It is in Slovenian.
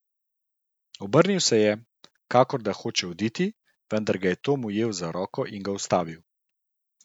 Obrnil se je, kakor da hoče oditi, vendar ga je Tom ujel za roko in ga ustavil.